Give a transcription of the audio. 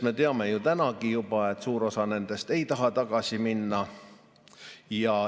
Me teame ju juba tänagi, et suur osa nendest ei taha tagasi minna.